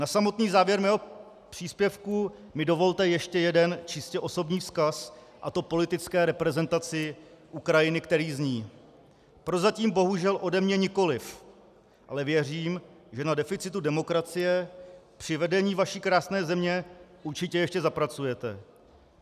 Na samotný závěr mého příspěvku mi dovolte ještě jeden čistě osobní vzkaz, a to politické reprezentaci Ukrajiny, který zní: Prozatím bohužel ode mě nikoliv, ale věřím, že na deficitu demokracie při vedení vaší krásné země určitě ještě zapracujete.